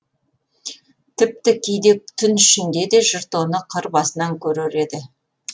тіпті кейде түн ішінде де жұрт оны қыр басынан көрер еді